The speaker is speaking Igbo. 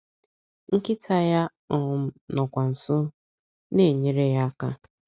Nkịta ya um nọkwa nso na - enyere ya aka.